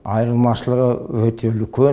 айырмашылығы өте үлкен